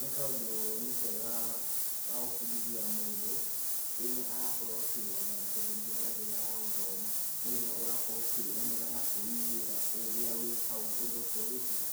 nĩ kaũndũ nĩ kega gagũbundithia mũndũ, rĩrĩa arakorwo akĩyonera tondũ njĩra njega ya gũthoma nĩ ĩrĩa ũrakorwo ũkĩyonera na kwĩiguĩra rĩrĩa wĩ hau ũndũ ũcio ũgĩkĩka.